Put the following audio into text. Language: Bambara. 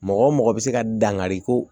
Mɔgɔ mɔgɔ bɛ se ka dangari ko